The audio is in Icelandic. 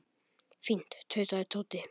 Fínt tautaði Tóti.